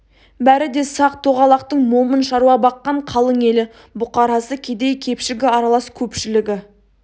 бәрі де сақ-тоғалақтың момын шаруа баққан қалың елі бұқарасы кедей-кепшігі аралас көпшілігі